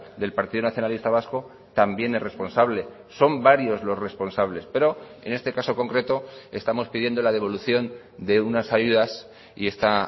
del partido nacionalista vasco también es responsable son varios los responsables pero en este caso concreto estamos pidiendo la devolución de unas ayudas y esta